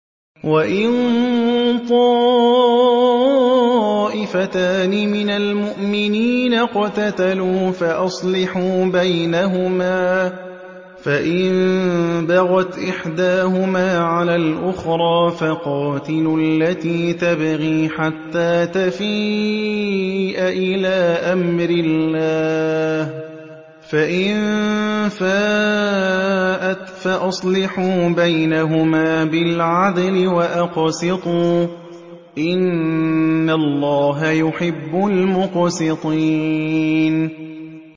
وَإِن طَائِفَتَانِ مِنَ الْمُؤْمِنِينَ اقْتَتَلُوا فَأَصْلِحُوا بَيْنَهُمَا ۖ فَإِن بَغَتْ إِحْدَاهُمَا عَلَى الْأُخْرَىٰ فَقَاتِلُوا الَّتِي تَبْغِي حَتَّىٰ تَفِيءَ إِلَىٰ أَمْرِ اللَّهِ ۚ فَإِن فَاءَتْ فَأَصْلِحُوا بَيْنَهُمَا بِالْعَدْلِ وَأَقْسِطُوا ۖ إِنَّ اللَّهَ يُحِبُّ الْمُقْسِطِينَ